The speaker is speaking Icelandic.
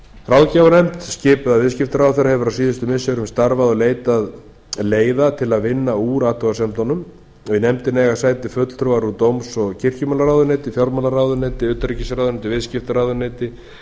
ráðgjafarnefnd skipuð af viðskiptaráðherra hefur á síðustu misserum starfað og leitað leiða til að vinna úr athugasemdum fatf í nefndinni eiga sæti fulltrúar úr dóms og kirkjumálaráðuneyti fjármálaráðuneyti utanríkisráðuneyti viðskiptaráðuneyti